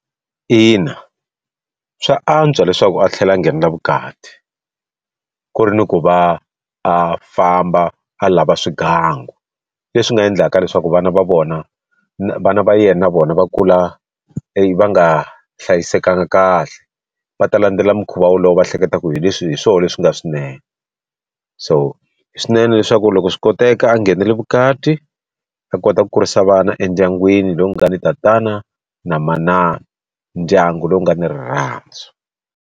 Ina swa antswa leswaku a tlhela a nghenela vukati ku ri ni ku va a famba a lava swigangu leswi nga endlaka leswaku vana va vona vana va yena na vona va kula va nga hlayisekanga kahle va ta landzela mukhuva wolowo va hleketa ku hi leswi hi swona leswi nga swinene so hi swinene leswaku loko swi koteka a nghenela vukati a kota ku kurisa vana endyangwini lowu nga ni tatana na manana, ndyangu lowu nga ni rirhandzu.